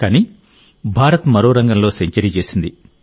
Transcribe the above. కానీ భారత్ మరో రంగంలో సెంచరీ చేసింది